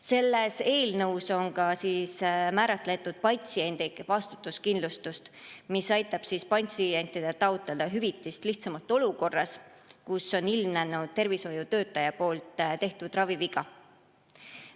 Selles eelnõus on määratletud ka patsientide vastutuskindlustus, mis aitab patsientidel lihtsamalt hüvitist taotleda olukorras, kus on ilmnenud tervishoiutöötaja tehtud raviviga.